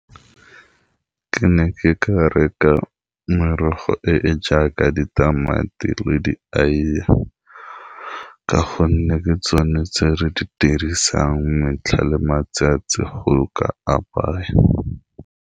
Ke ne ke ka reka merogo e e jaaka ditamati le di aeye ka gonne ke tsone tse re di dirisang metlha le matsatsi go ka apaya.